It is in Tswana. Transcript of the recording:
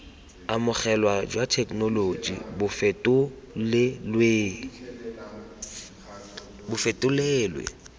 amogelwa jwa thekenoloji bo fetolelwe